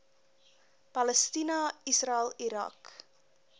palestina israel irak